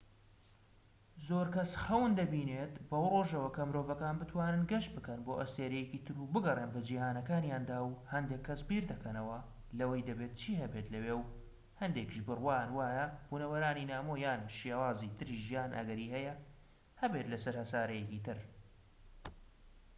زۆر کەس خەون دەبینێت بەو ڕۆژەوە کە مرۆڤەکان بتوانن گەشت بکەن بۆ ئەستێرەیەکی تر و بگەڕێن بە جیهانەکانیاندا و هەندێك کەس بیردەکەنەوە لەوەی دەبێت چی هەبێت لەوێ و هەندێکیش بڕوایان وایە بونەوەرانی نامۆ یان شێوازی تری ژیان ئەگەری هەیە هەبێت لەسەر هەسارەیەکی تر